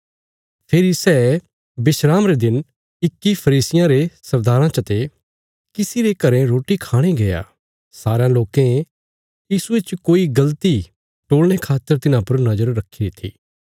फेरी सै विस्राम रे दिन इक्की फरीसियां रे सरदाराँ चते किसी रे घरें रोटी खाणे गया सारयां लोकें यीशुये च कोई गल़ती टोलणे खातर तिन्हां पर नज़र रखीरी थी